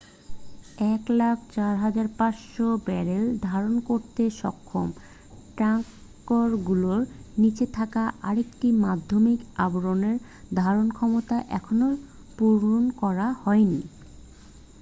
104,500 barrel ধারণ করতে সক্ষম ট্যাঙ্কগুলোর নীচে থাকা আরেকটি মাধ্যমিক আবরণের ধারণক্ষমতা এখনও পূরণ করা হয়নি